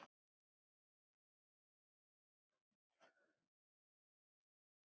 Högg það harmur er öllum.